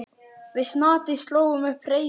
Við Snati slógum upp hreysi.